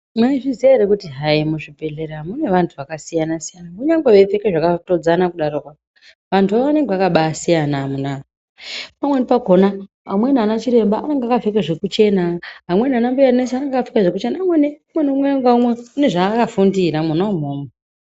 Maizviziya ere hayi kuti muzvibhehleya mune vantu yakasiyana siyana kunyange veipfeka zvakatodzana daroko vantu go vanenge yakasiyana amuna pamweni pakona amweni ana Chiremba anenge akapfeka zvekuchena amweni anambuya nesi vanenge vakapfeka zvekuchena umwe neumwe unenge ane zvakafundira mwona imwomwo.